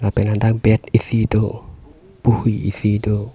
pen ladak bed isi do puhui isi do.